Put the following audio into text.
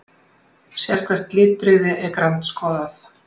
Sérhvert litbrigði er grandskoðað.